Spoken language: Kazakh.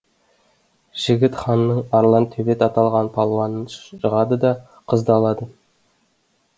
жігіт ханның арлан төбет аталған палуанын жығады да қызды алады